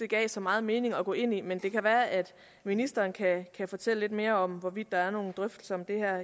giver så meget mening at gå ind i men det kan være at ministeren kan fortælle lidt mere om hvorvidt der er nogle drøftelser om det her